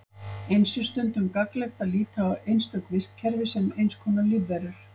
Eins er stundum gagnlegt að líta á einstök vistkerfi sem eins konar lífverur.